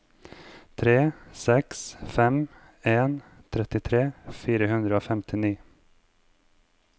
tre seks fem en trettitre fire hundre og femtini